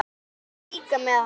Hann er líka með HANA!